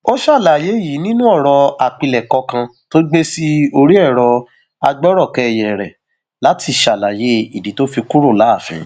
ó ṣàlàyé yìí nínú ọrọ àpilẹkọ kan tó gbé sí orí ẹrọ agbọrọkẹyẹ rẹ látìṣàlàyé ìdí tó fi kúrò láàfin